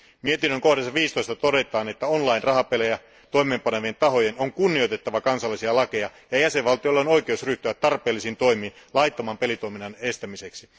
Mietinnön 15 kohdassa todetaan, että on line rahapelejä toimeenpanevien tahojen on kunnioitettava kansallisia lakeja ja jäsenvaltioilla on oikeus ryhtyä tarpeellisiin toimiin laittoman pelitoiminnan estämiseksi.